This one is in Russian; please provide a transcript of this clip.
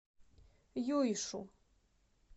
юйшу